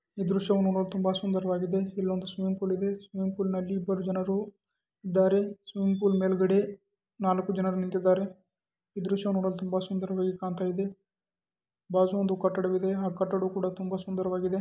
ಈ ದೃಶ್ಯ ನೋಡಲು ತುಂಬಾ ಸುಂದರವಾಗಿ ಕಾಣ್ತಾ ಇದೆ.